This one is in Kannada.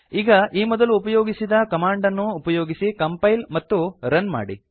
ಈಗ ಈ ಮೊದಲು ಉಪಯೋಗಿಸಿದ ಕಮಾಂಡ್ ಅನ್ನು ಉಪಯೋಗಿಸಿ ಕಂಪೈಲ್ ಮತ್ತು ರನ್ ಮಾಡಿ